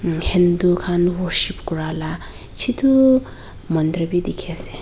Hindu khan worship kura laga chotu mandir bi dikhi ase.